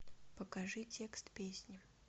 покажи текст песни